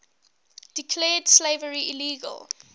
declared slavery illegal